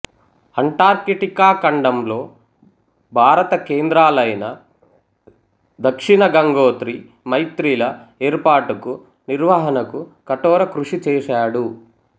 Antarctica ఖండంలో భారత కేంద్రాలైన దక్షిణ గంగోత్రి మైత్రి ల ఏర్పాటుకు నిర్వహణకు కఠోరకృషిచేశాడు